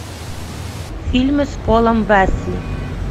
фильмы с полом уэсли